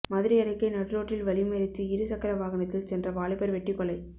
மதுரை அருகே நடுரோட்டில் வழிமறித்து இரு சக்கர வாகனத்தில் சென்ற வாலிபர் வெட்டிக்கொலை